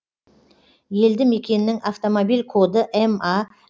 елді мекеннің автомобиль коды ма